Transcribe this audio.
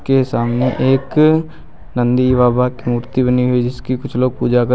के सामने एक नंदी बाबा की मूर्ति बनी हुई है जिसकी कुछ लोग पूजा कर--